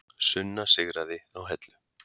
Sunna sigraði á Hellu